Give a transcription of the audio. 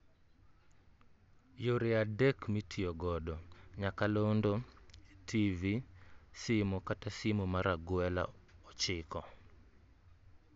Yore adek (3) mitiyo godo; nyakalondo, TV, simo kata simo mar agwela ochiko (9)